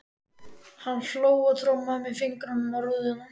Hann hló og trommaði með fingrunum á rúðuna.